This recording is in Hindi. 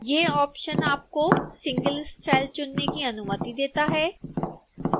यह ऑप्शन आपको सिंगल स्टाइल चुनने की अनुमति देता है